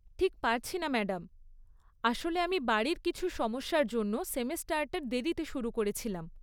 ঠিক পারছি না ম্যাডাম। আসলে আমি বাড়ির কিছু সমস্যার জন্য সেমেস্টারটা দেরিতে শুরু করেছিলাম।